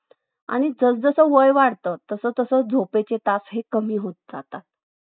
आणि जस वय वाढत तस तस झोपेचे तास कमी होत जातात